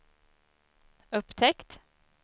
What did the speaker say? upptäckt